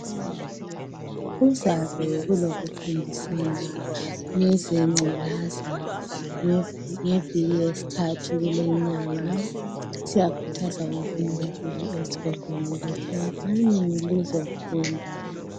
Kuzabe kulokufundisana ngeze ngculaza ngeviki yes'thathu kuleyi 'nyanga siyakhuthaza wonk'umuntu es'kolweni ukuthi wozani lizofunda